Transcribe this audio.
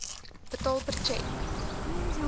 betaal per tjek